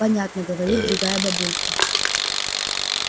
понятно говорит другая бабулька